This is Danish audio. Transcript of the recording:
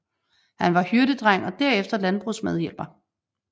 Han var hyrdedreng og derefter landbrugsmedhjælper